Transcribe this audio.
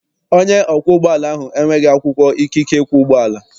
Onye ọkwọ ụgbọala ahụ enweghị akwụkwọ ikike ikwọ ụgbọala.